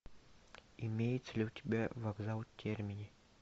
имеется ли у тебя вокзал термини